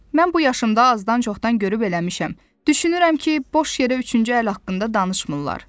Mən bu yaşımda azdan-çoxdan görüb eləmişəm, düşünürəm ki, boş yerə üçüncü əl haqqında danışmırlar.